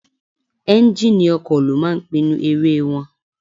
Ẹ́njíníì ọkọ̀ ló máa ń pinnu eré wọn.